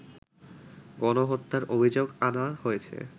গণহত্যার অভিযোগ আনা হয়েছে